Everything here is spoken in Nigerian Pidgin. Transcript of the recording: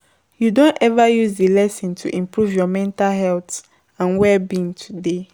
you don ever use di lesson to improve your mental health and well-being today?